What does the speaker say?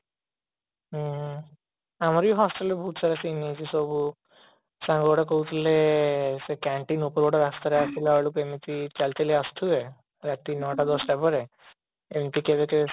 ହୁଁ ଆମର ହି hostel ରେ ବହୁତ ସାରା scene ହେଇଛି ସବୁ ସାଙ୍ଗଟା କହୁଥିଲେ ସେ canteen ଉପର ରାସ୍ତାରେ ଆସିଲା ବେଳକୁ ଏମିତି ଚାଲିଚାଲି ଆସୁଥିବେ ନଅ ଟା ଦଶଟା ପରେ ଏମିତି କେବେକେବେ